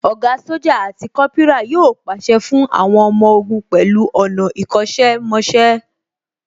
Ògá Sójà àti Kópírà yóò pàṣẹ fún àwọn ọmọ ogun pẹ̀lú ọ̀nà ìkọ́ṣẹ́ mọṣẹ́